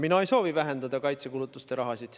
Mina ei soovi vähendada kaitsekulutuste raha.